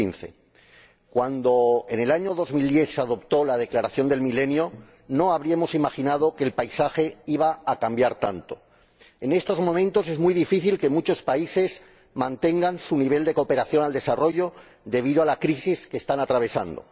2015. Cuando en el año 2000 se aprobó la Declaración del Milenio no habríamos imaginado que el paisaje iba a cambiar tanto en estos momentos es muy difícil que muchos países mantengan su nivel de cooperación al desarrollo debido a la crisis que están atravesando.